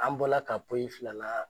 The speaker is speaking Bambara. An bɔla ka poyi filanan